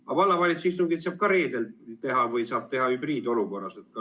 Aga vallavalitsuse istungit saab teha ka reedeti või hübriidistungina.